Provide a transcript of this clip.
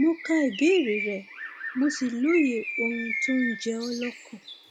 mo ka ìbéèrè rẹ mo sì lóye ohun tó ń jẹ ọ lọkàn